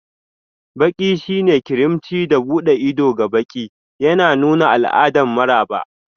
Baƙi shine karimci da buɗe ido ga baƙi, yana nuna al'adar maraba.